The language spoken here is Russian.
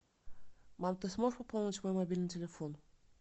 мам ты сможешь пополнить мой мобильный телефон